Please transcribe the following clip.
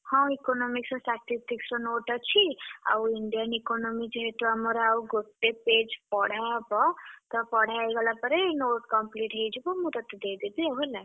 ହଁ Economics ର Statistics ର note ଅଛି। ଆଉ Indian Economic ଯେହେତୁ ଆମର ଆଉ ଗୋଟେ page ପଢା ହବ ତ ପଢା ହେଇଗଲା ପରେ note complete ହେଇଯିବ। ମୁଁ ତତେ ଦେଇଦେବି ଆଉ ହେଲା।